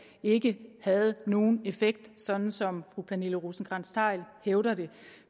ikke havde nogen effekt sådan som fru pernille rosenkrantz theil hævder det